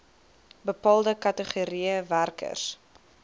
bepaalde kategorieë werkers